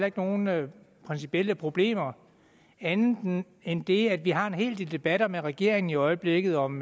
ikke nogen principielle problemer andet end det at vi har en hel del debatter med regeringen i øjeblikket om